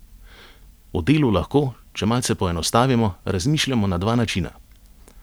O delu lahko, če malce poenostavimo, razmišljamo na dva načina.